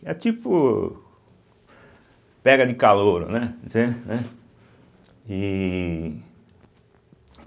e É tipo pega de calouro, né? entende, né? e